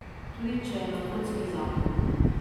Tudi če je na kocki zakon.